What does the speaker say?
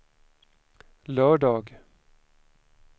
lördag